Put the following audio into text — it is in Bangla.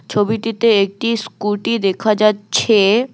ছবিটিতে একটি স্কুটি দেখা যাচ্ছে।